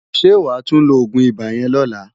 Sé wá tú ló ógún ibá yèn lòlá?